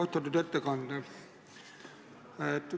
Austatud ettekandja!